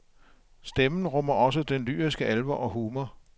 Stemmen rummer også den lyriske alvor og humor.